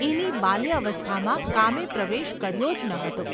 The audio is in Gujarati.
એની બાલ્યાવસ્થામાં કામે પ્રવેશ કર્યો જ ન હતો.